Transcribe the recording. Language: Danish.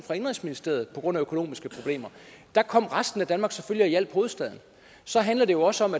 indenrigsministeriet på grund af økonomiske problemer og der kom resten af danmark selvfølgelig og hjalp hovedstaden så handler det jo også om